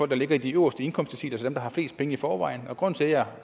der ligger i de øverste indkomstdeciler altså dem der har flest penge i forvejen grunden til at jeg